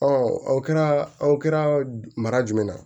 o kɛra aw kɛra mara jumɛn ye